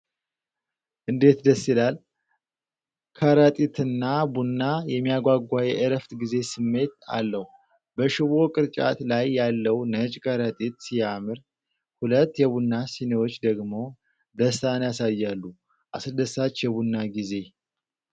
እንዴት ደስ ይላል! ከረጢትና ቡና የሚያጓጓ የእረፍት ጊዜ ስሜት አለው። በሽቦ ቅርጫት ላይ ያለው ነጭ ከረጢት ሲያምር፣ ሁለት የቡና ስኒዎች ደግሞ ደስታን ያሳያሉ። አስደሳች የቡና ጊዜ!